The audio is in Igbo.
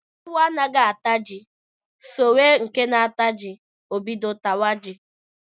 Ewu anaghị ata ji sowe nke na-ata ji, o bido tawa ji